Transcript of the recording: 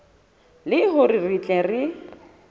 le hore re tle re